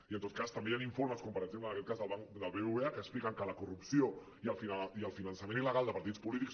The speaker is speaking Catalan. i en tot cas també hi han informes com per exemple en aquest cas del bbva que expliquen que la corrupció i el finançament il·legal de partits polítics